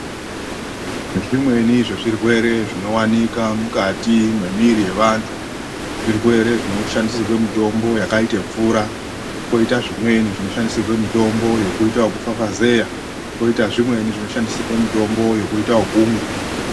Zvimweni zvezvirwere zvinowanikwa mumwiri mevandu zvirwere zvonoshandisirwa mitombo yakaita mvura, kwoita zvimweni zvonoshandisirwa mitombo yekuita yekufafazera , koita zvimweni zvoshandisirwa mitombo yekuita okumwa.